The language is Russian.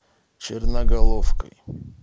черноголовкой